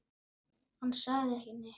Hann sagði ekki neitt.